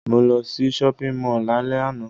Mo lo sí shopping mall lálẹ́ àná